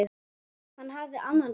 Hann hafði annan kost.